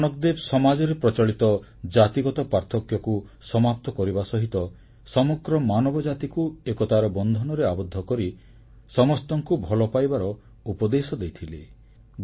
ଗୁରୁ ନାନକଦେବ ସମାଜରେ ପ୍ରଚଳିତ ଜାତିଗତ ପାର୍ଥକ୍ୟକୁ ସମାପ୍ତ କରିବା ସହିତ ସମଗ୍ର ମାନବଜାତିକୁ ଏକତାର ବନ୍ଧନରେ ଆବଦ୍ଧ କରି ସମସ୍ତଙ୍କୁ ଭଲପାଇବାର ଉପଦେଶ ଦେଇଥିଲେ